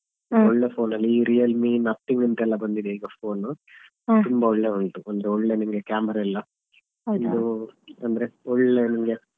ಈ Realme Nothing ಅಂತ ಬಂದಿದೆ phone ತುಂಬಾ ಒಳ್ಳೆ ಉಂಟು ಒಳ್ಳೆ ನಿಮ್ಗೆ camera ಎಲ್ಲ ಅಂದ್ರೆ ಒಳ್ಳೆ ನಿಮ್ಗೆ.